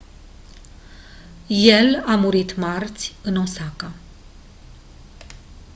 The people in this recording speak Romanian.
el a murit marți în osaka